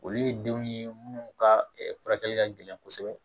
Olu ye denw ye minnu ka furakɛli ka gɛlɛn kosɛbɛ